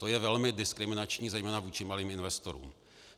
To je velmi diskriminační zejména vůči malým investorům.